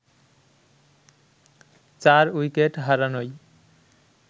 ৪ wicket হারানোয়